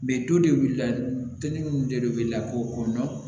Mɛ to de wuli la minnu de bɛ lakɔ kɔnɔ